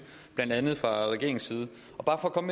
blandt andet fra regeringens i